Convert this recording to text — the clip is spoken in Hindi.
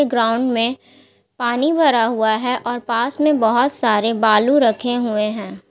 ग्राउंड मे पानी भरा हुआ हैऔर पास में बहुत सारे बालू रखे हुए हैं।